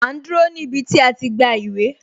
A ń dúró ní ibi tí a ti gba ìwé